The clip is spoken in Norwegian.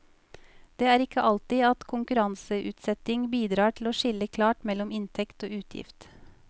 Det er ikke alltid at konkurranseutsetting bidrar til å skille klart mellom inntekt og utgift.